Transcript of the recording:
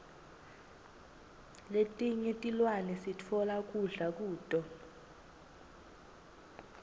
letinye tilwane sitfola kudla kuto